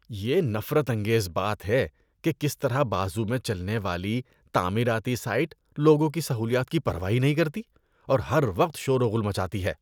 یہ نفرت انگیز بات ہے کہ کس طرح بازو میں چلنے والی تعمیراتی سائٹ لوگوں کی سہولیات کی پرواہ ہی نہیں کرتی اور ہر وقت شور و غل مچاتی ہے۔